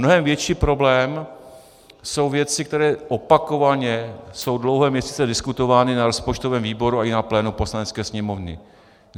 Mnohem větší problém jsou věci, které opakovaně jsou dlouhé měsíce diskutovány na rozpočtovém výboru a i na plénu Poslanecké sněmovny.